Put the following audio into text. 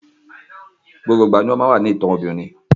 Gbogbo ìgbà ni ó máa ń wà nínú ìtàn obìnrin